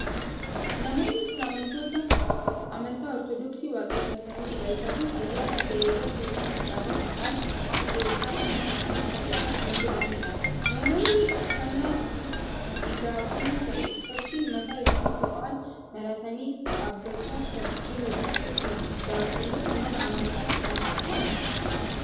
Namoonni kun amantoota amantaa ortoodooksii waaqeffataniidha. Isaanis ayyaana tahe irratti walitti qabamuudhaan waaqa ykn uumaa isaanii kadhachaa kan jiraniidha. Namoonni uffannaan igaa'onii tahe uffachuun mataa isaaniitti waan maratanii dhaabbachaa kan jiran kun daaqunoota mana amantaa sanaadha.